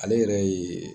Ale yɛrɛ ye